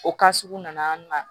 O sugu nana an na